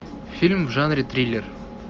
фильм в жанре триллер